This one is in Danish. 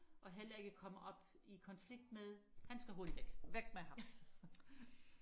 og heller ikke komme op i konflikt med han skal hurtigt væk